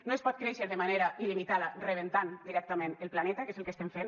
no es pot créixer de manera il·limitada rebentant directament el planeta que és el que estem fent